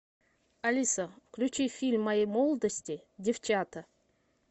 алиса включи фильм моей молодости девчата